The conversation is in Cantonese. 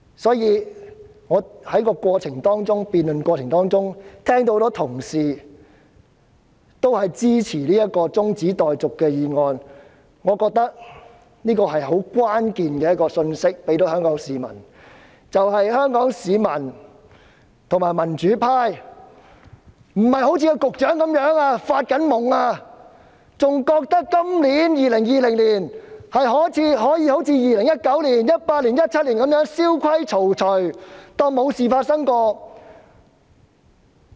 聽到多位同事在辯論中表示支持中止待續議案，我認為這給予香港市民一項關鍵信息，便是香港市民及民主派並非一如局長般在發夢，仍然認為今年可以一如2019年、2018年及2017年般蕭規曹隨，當作沒事發生。